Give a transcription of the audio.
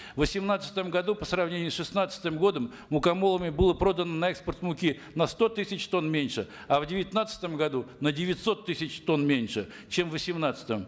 в восемнадцатом году по сравнению с шестнадцатым годом мукомолами было продано на экспорт муки на сто тысяч тонн меньше а в девятнадцатом году на девятьсот тысяч тонн меньше чем в восемнадцатом